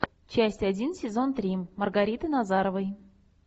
часть один сезон три маргариты назаровой